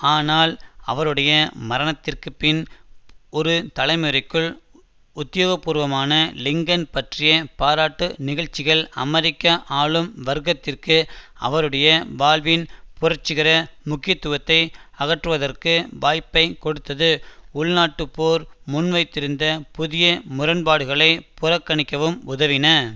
ஆனால் அவருடைய மரணத்திற்கு பின் ஒரு தலைமுறைக்குள் உத்தியோகபூர்வமான லிங்கன் பற்றிய பாராட்டு நிகழ்ச்சிகள் அமெரிக்க ஆளும் வர்க்கத்திற்கு அவருடைய வாழ்வின் புரட்சிகர முக்கியத்துவத்தை அகற்றுவதற்கு வாய்ப்பை கொடுத்தது உள்நாட்டுப் போர் முன்வைத்திருந்த புதிய முரண்பாடுகளை புறக்கணிக்கவும் உதவின